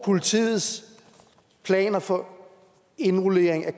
politiets planer for indrullering af